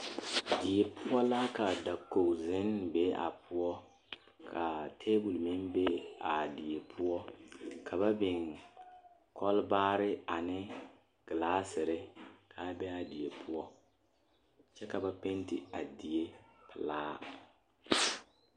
Die poɔ la ka dakogizennee be a poɔ ka tabol meŋ be a die poɔ ka ba biŋ kɔlbaare ane gelaasere k,a be a die poɔ kyɛ ka ba penti a die pelaa.